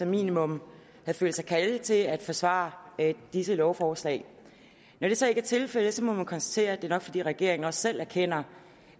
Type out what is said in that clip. minimum havde følt sig kaldet til at forsvare disse lovforslag når det så ikke er tilfældet må man konstatere at det nok er fordi regeringen også selv erkender